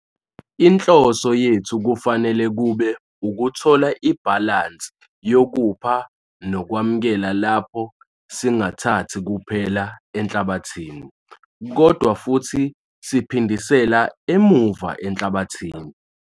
Inhloso yethu kufanele kube ukuthola ibhalansi yokupha nokwamukela lapho singathathi kuphela enhlabathini, kodwa futhi siphindisela emuva enhlabathini.